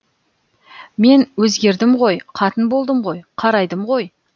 мен өзгердім ғой қатын болдым ғой қарайдым ғой